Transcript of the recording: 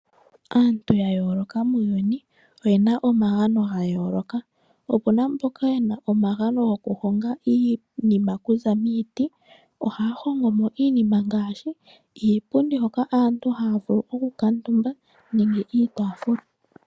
Aantu yayooloka muuyuni oyena omagano gayooloka. Opuna mboka yena omagano gokuhonga iinima oku za miiti. Ohaya hongo mo iinima ngaashi iipundi yoku kuutumbwa osho wo iitaafula.